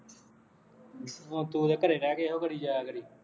ਹੁਣ ਤੂੰ ਉਹਦੇ ਘਰੇ ਰਹਿ ਕੇ ਇਹੋ ਕਰੀ ਜਾਇਆਂ ਕਰੀਂ